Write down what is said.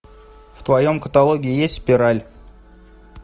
в твоем каталоге есть спираль